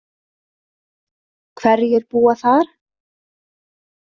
Hverjir búa þar?